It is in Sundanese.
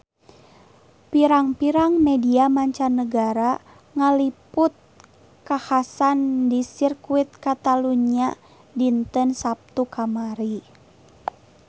Pirang-pirang media mancanagara ngaliput kakhasan di Sirkuit Catalunya dinten Saptu kamari